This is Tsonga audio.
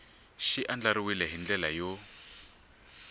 xi andlariwile hi ndlela yo